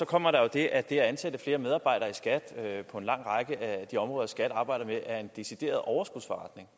kommer der jo det at det at ansætte flere medarbejdere i skat på en lang række af de områder som skat arbejder med er en decideret overskudsforretning